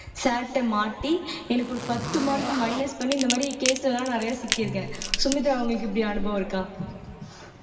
sir ட்ட மாட்டி எனக்கு ஒரு பத்து mark minus பண்ணி இந்த மாதிரி case எல்லாம் நிறைய சிக்கியிருக்கேன் சுமித்ரா உங்களுக்கு இப்படி அனுபவம் இருக்கா